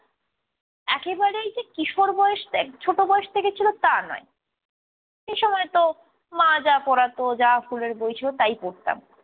একেবারেই যে কিশোর বয়স থেকে ছোট বয়স থেকে ছিল তা নয়। এসময় তো মা যা পড়াতো যা স্কুলের বই ছিল তাই পড়তাম।